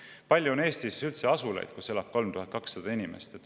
Kui palju on Eestis üldse asulaid, kus elab 3200 inimest?